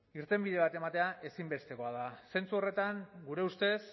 irtenbide bat ematea ezinbestekoa da zentzu horretan gure ustez